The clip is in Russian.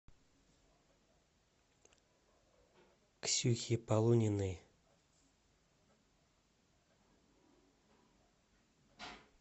ксюхе полуниной